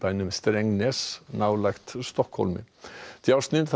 nálægt Stokkhólmi þar á meðal tvær